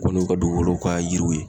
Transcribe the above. Kɔni u ka dugukolow ka yiriw ye.